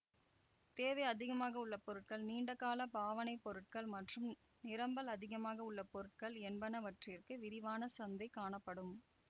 தேவை அதிகமாக உள்ள பொருட்கள் நீண்டகால பாவனை பொருட்கள் மற்றும் நிரம்பல் அதிகமாக உள்ள பொருட்கள் என்பனவற்றிற்க்கு விரிவான சந்தை காணப்படும்